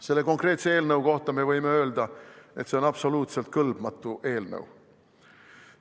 Selle konkreetse eelnõu kohta me võime öelda, et see on absoluutselt kõlbmatu eelnõu.